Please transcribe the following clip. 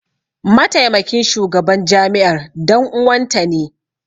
Mataimakin shugaban jami'ar dan uwanta ne.